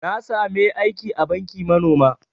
Na sami aiki a banki manoma